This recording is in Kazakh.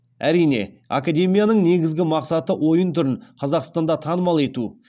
әрине академияның негізгі мақсаты ойын түрін қазақстанда танымал ету